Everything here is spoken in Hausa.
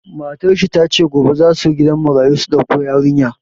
Matar shi ta ce, gobe za su gidan marayu su dauko yarinya.